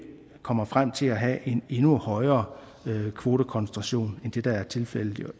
kommer frem til at have en endnu højere kvotekoncentration end det der er tilfældet